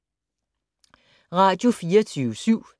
Radio24syv